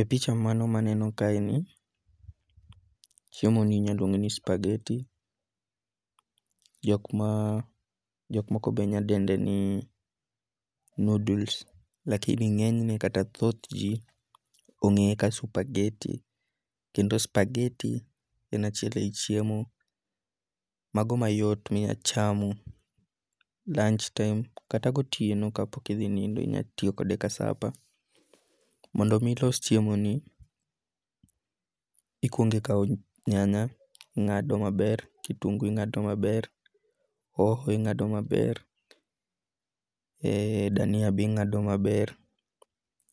E picha mano maneno kae ni, chiemo ni inyaluonge ni spageti. Jok ma jok moko be nyadende ni noodles. Lakini ng'enyne kata thoth ji ong'eye kaka spageti. Kendo spagetii en achiel e yi chiemo mago mayot minya chamo lunch time kata gotieno kapok idhi nindo inya tiyogode ka sapa. Mondo mi ilos chiemo ni ikuongo ikawa nyanya ing'ado maber. kitungu ing'ado maber, hoho ing'ado maber. dania be ing'ado maber.